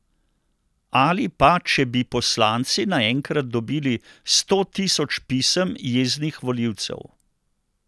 Ali pa če bi poslanci naenkrat dobili sto tisoč pisem jeznih volivcev.